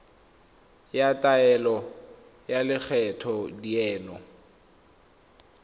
ya taelo ya lekgetho dineo